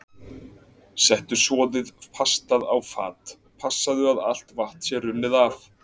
Settu soðið pastað á fat, passaðu að allt vatn sé runnið af.